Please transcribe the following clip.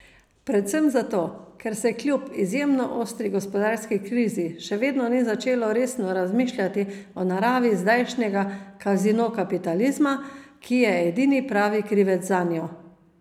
Predvsem zato, ker se kljub izjemno ostri gospodarski krizi še vedno ni začelo resno razmišljati o naravi zdajšnjega kazino kapitalizma, ki je edini pravi krivec zanjo.